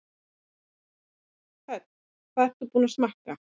Hödd: Hvað ertu búin að smakka?